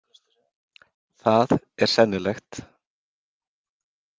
Það er sennilegt.